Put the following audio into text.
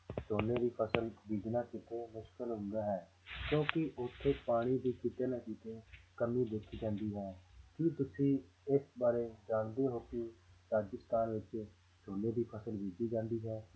ਝੋਨੇ ਦੀ ਫ਼ਸਲ ਬੀਜਣਾ ਕਿਤੇ ਮੁਸ਼ਕਲ ਹੁੰਦਾ ਹੈ ਕਿਉਂਕਿ ਉੱਥੇ ਪਾਣੀ ਦੀ ਕਿਤੇ ਨਾ ਕਿਤੇ ਕਮੀ ਦੇਖੀ ਜਾਂਦੀ ਹੈ ਕੀ ਤੁਸੀਂ ਇਸ ਬਾਰੇ ਜਾਣਦੇ ਹੋ ਕਿ ਰਾਜਸਥਾਨ ਵਿੱਚ ਝੋਨੇ ਦੀ ਫ਼ਸਲ ਬੀਜੀ ਜਾਂਦੀ ਹੈ